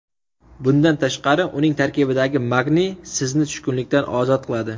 Bundan tashqari, uning tarkibidagi magniy sizni tushkunlikdan ozod qiladi.